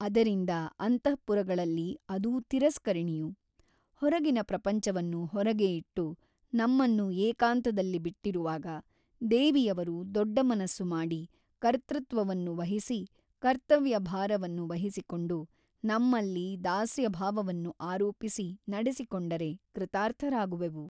ಅದರಿಂದ ಅಂತಃಪುರಗಳಲ್ಲಿ ಅದೂ ತಿರಸ್ಕರಣಿಯು ಹೊರಗಿನ ಪ್ರಪಂಚವನ್ನು ಹೊರಗೇ ಇಟ್ಟು ನಮ್ಮನ್ನು ಏಕಾಂತದಲ್ಲಿ ಬಿಟ್ಟಿರುವಾಗ ದೇವಿಯವರು ದೊಡ್ಡ ಮನಸ್ಸು ಮಾಡಿ ಕರ್ತೃತ್ವವನ್ನು ವಹಿಸಿ ಕರ್ತವ್ಯ ಭಾರವನ್ನು ವಹಿಸಿಕೊಂಡು ನಮ್ಮಲ್ಲಿ ದಾಸ್ಯಭಾವವನ್ನು ಆರೋಪಿಸಿ ನಡೆಸಿಕೊಂಡರೆ ಕೃತಾರ್ಥರಾಗುವೆವು.